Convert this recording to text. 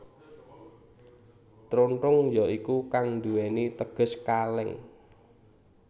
Trontong ya iku kang duwèni teges kalèng